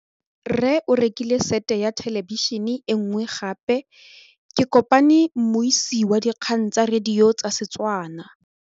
Rre o rekile sete ya thêlêbišênê e nngwe gape. Ke kopane mmuisi w dikgang tsa radio tsa Setswana.